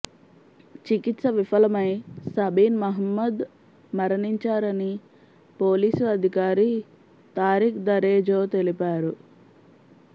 చికిత్స విఫలమై సబీన్ మహమ్మద్ మరణించారని పోలీసు అధికారి తారిఖ్ దరేజో తెలిపారు